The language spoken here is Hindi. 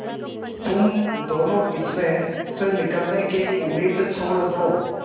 तुम दोनों इसमें से निकलने की उम्मीद छोड़ दो